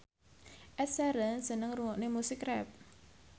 Ed Sheeran seneng ngrungokne musik rap